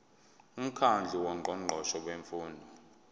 umkhandlu wongqongqoshe bemfundo